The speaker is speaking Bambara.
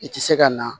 I tɛ se ka na